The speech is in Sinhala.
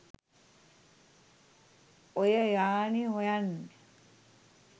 ඔය යානෙ හොයන්න.